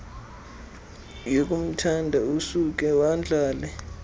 yokumthanda usuke wadlala